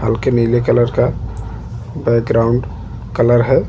हल्के नीले कलर का बैकग्राउंड कलर है।